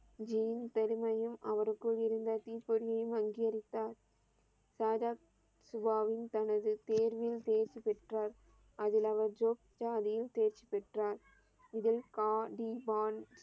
ஜியின் பெருமையையும் அவர் கூறி இருந்த தீப்பொரியும் அங்கீகரித்தார். சாகப் சுபாவும் தனது தேர்வில் தேர்ச்சி பெற்றார். அதில் அவள் ஜோக்சா அதையும் தேர்ச்சி பெற்றார். இதில் கா தீ வான்